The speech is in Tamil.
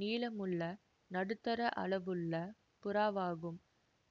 நீளமுள்ள நடுத்தர அளவுள்ள புறாவாகும்